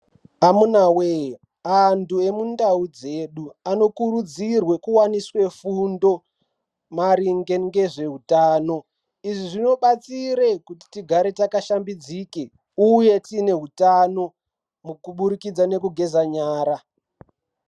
Amunawe!antu emundau dzedu anokurudzirwe kuwaniswe fundo maringe ngezveutano izvi zvinobatsire kuti tigare takashambidzike uye tiine hutano kubudikidze ngekugeza nyara.